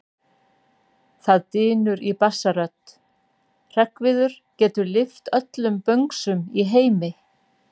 Það drynur í bassarödd: Hreggviður getur lyft öllum böngsum í heimi!